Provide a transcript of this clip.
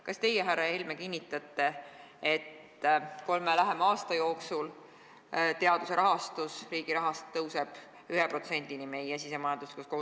" Kas teie, härra Helme, kinnitate, et kolme lähema aasta jooksul teaduse rahastamine riigi rahast tõuseb 1%-ni meie SKT-st?